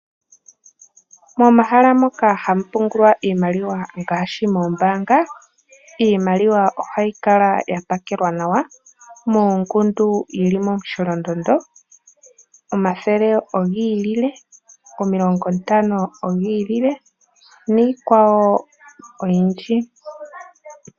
Momahala moka hamu pungulwa iimaliwa ngaashi moombanga. Iimaliwa ohayi kala ya pakelwa nawa moongundu yili momu sholondondo, omathele ogi ilile, omilongo ntano odhi ilile niikwawo oyindji.